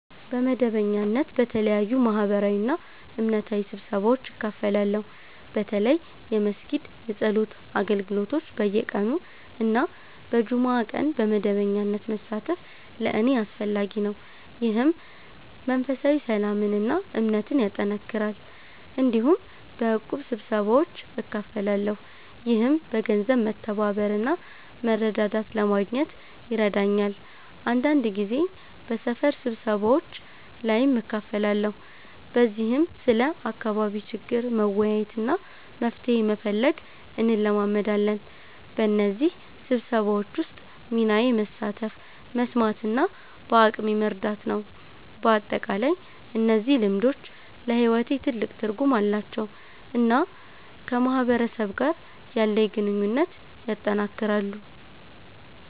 በመደበኛነት በተለያዩ ማህበራዊና እምነታዊ ስብሰባዎች እካፈላለሁ። በተለይ የመስጊድ የጸሎት አገልግሎቶች በየቀኑ እና በጁምዓ ቀን በመደበኛነት መሳተፍ ለእኔ አስፈላጊ ነው፣ ይህም መንፈሳዊ ሰላምን እና እምነትን ያጠናክራል። እንዲሁም በእቁብ ስብሰባዎች እካፈላለሁ፣ ይህም በገንዘብ መተባበር እና መረዳዳት ለማግኘት ይረዳኛል። አንዳንድ ጊዜ በሰፈር ስብሰባዎች ላይም እካፈላለሁ፣ በዚህም ስለ አካባቢ ችግር መወያየት እና መፍትሄ መፈለግ እንለማመዳለን። በእነዚህ ስብሰባዎች ውስጥ ሚናዬ መሳተፍ፣ መስማት እና በአቅሜ መርዳት ነው። በአጠቃላይ እነዚህ ልምዶች ለሕይወቴ ትልቅ ትርጉም አላቸው እና ከማህበረሰብ ጋር ያለኝን ግንኙነት ያጠናክራሉ።